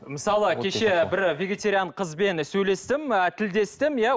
мысалы кеше бір вегетариан қызбен сөйлестім ы тілдестім иә